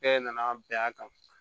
Bɛɛ nana bɛn a kan